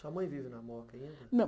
Sua mãe vive na Moca ainda? Não